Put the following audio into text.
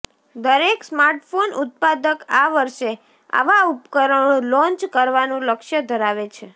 દરેક સ્માર્ટફોન ઉત્પાદક આ વર્ષે આવા ઉપકરણો લોન્ચ કરવાનું લક્ષ્ય ધરાવે છે